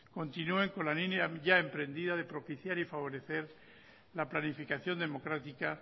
continúen con la línea ya emprendida de propiciar y favorecer la planificación democrática